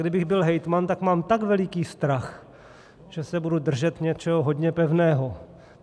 Kdybych byl hejtman, tak mám tak veliký strach, že se budu držet něčeho hodně pevného.